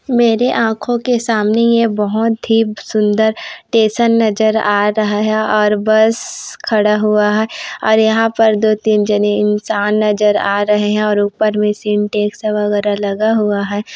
मेरे आँखों के सामने ए बहुत ही सुंदर स्टेशन नजर आ रहा है और बस खड़ा हुआ है और यहाँ पर दो तीन जने इन्सान नज़र आ रहे है और उपर में सिंटेक्स वगैरह लगा हुआ है।